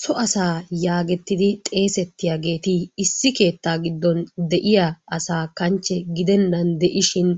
So asaa yaagettidi xeegettiyageeti Issi keettaa giddon de'iya asaa kanchche gidennan de"ishin